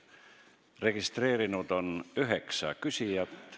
Registreerunud on üheksa küsijat.